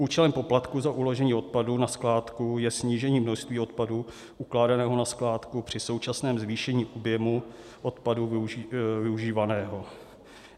Účelem poplatku za uložení odpadu na skládku je snížení množství odpadu ukládaného na skládku při současném zvýšení objemu odpadu využívaného.